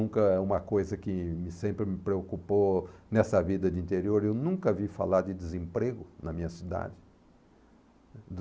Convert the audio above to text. Nunca uma coisa que me sempre me preocupou nessa vida de interior, eu nunca vi falar de desemprego na minha cidade. Do